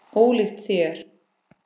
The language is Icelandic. Ólíkt þér.